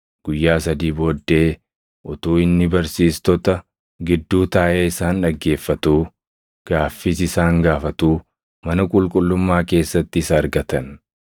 Guyyaa sadii booddee utuu inni barsiistota gidduu taaʼee isaan dhaggeeffatuu, gaaffiis isaan gaafatuu mana qulqullummaa keessatti isa argatan.